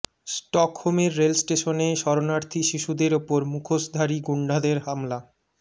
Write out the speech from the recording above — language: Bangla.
স্টকহোমের রেল স্টেশনে শরণার্থী শিশুদের ওপর মুখোসধারী গুণ্ডাদের হামলা